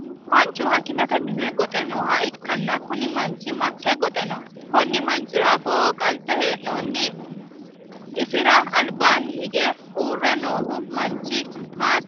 Manchu hakimeete minne goxe nooha ikanna kunni manchi make goxe no? Konni manchira afooho maa qanse hee'noonni? Isira albaanni hige uure noohu manchi maati?